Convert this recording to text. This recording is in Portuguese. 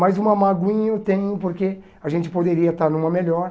Mas uma magoinha eu tenho porque a gente poderia estar numa melhor.